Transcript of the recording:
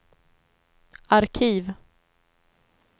arkiv